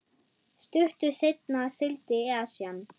Stuttu seinna sigldi Esjan